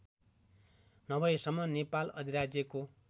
नभएसम्म नेपाल अधिराज्यको